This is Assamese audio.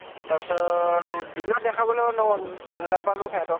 তা পাছত, দিনত দেখাবলৈ নহʼল ন নাপালো সিহঁতক